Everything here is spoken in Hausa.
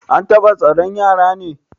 An bata tsaron yaran ne?